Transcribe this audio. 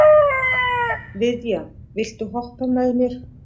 Viðja, viltu hoppa með mér?